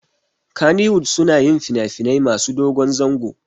Kannywood suna yin finafinai masu dogon zango